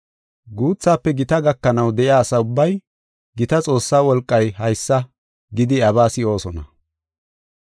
Guuthafe gita gakanaw de7iya asa ubbay, “Gita Xoossa wolqay haysa” gidi iyabaa si7oosona.